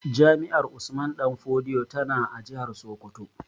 Jami'ar Usman danfodiyo tana a jihar Sokoto